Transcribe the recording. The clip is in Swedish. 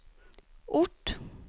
ort